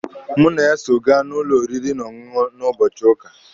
Mụ na ya so ga n'ụlọ oriri na ọṅụṅụ na ụbọchị ụka.